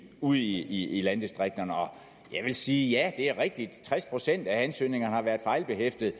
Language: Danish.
ude i landdistrikterne jeg vil sige at det er rigtigt at tres procent af ansøgningerne har været fejlbehæftede